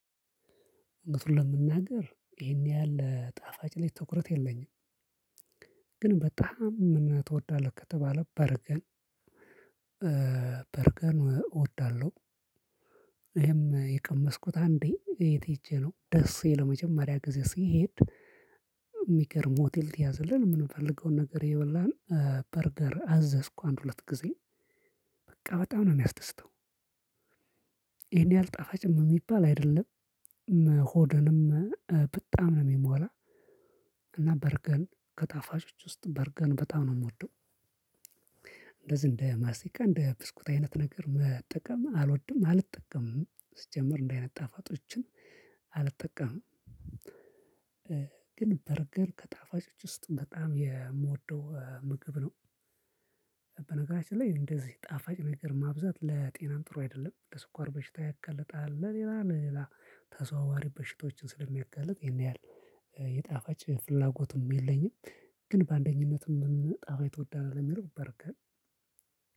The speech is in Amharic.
አውነቱን ለመናገር ይሄን ያህል ጣፋጭ ላይ ትኩረት የለኝም። ግን በጣም ምን ትወዳለህ ከተባለ በርገር። በርገር እወዳለሁ። ይሄም የቀመስኩት አንዴ የት ሄጄ ነው ደሴ ለመጀመሪያ ጊዜ ስሄድ። የሚገርም ሆቴል ተያዘልን የምንፈልገውን ነገር እየበላን በርገር አዘዝኩ አንድ ሁለት ጊዜ በቃ በጣም ነው የሚያስደስተው። ይሄን ያህል ጣፋጭም የሚባል አይደለም። ሆድንም በጣም ነው የሚሞላ። እና በርገር ከጣፋጮች ውስጥ በርገር በጣም ነው የምወደው። እንደዚህ እንደ ማስቲካ እንደ ብስኩት አይነት ነገር መጠቀም አልወድም አልጠቀምም ሲጀምር እንደዚህ አይነት ጣፋጮችን አልጠቀምም። ግን በርገር ከጣፋጮች ውስጥ በጣም የምወደው ምግብ ነው። በነገራችን ላይ እንደዚህ ጣፋጭ ነገር ማብዛት ለጤናም ጥሩ አይደለም ለስኳር በሽታ ያጋልጣል። ለሌላ ለሌላ ተዘዋዋሪ በሽቶችን ስለሚያጋልጥ ይሄን ያህል የጣፋጭ ፍላጎቱም የለኝም። ግን በአንደኝነት ምን ጣፋጭ ትወዳለህ ለሚለው በርገር